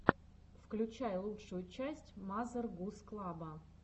включай лучшую часть мазер гуз клаба